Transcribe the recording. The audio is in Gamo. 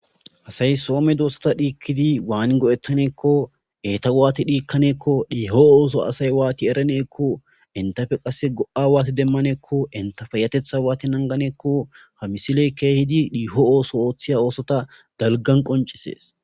asay soome doosta dhiikkidi waani go7ettaneekko eeta waati dhiikkanakko dhiho ooso asay waati eraneekko intafe qasse go7a waati demmaneekko intafayatetha waati nanganeekko hamisiley keehidi dhiiho ooso ooththiya oosota dalgan qoncisees